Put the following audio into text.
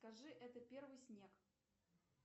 скажи это первый снег